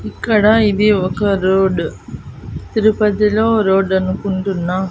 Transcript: ఇక్కడ ఇది ఒక రోడ్డు తిరుపతిలో రోడ్డు అనుకుంటున్నా.